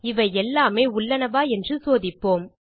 இவை எல்லாமே உள்ளனவா என்று சோதிப்போம்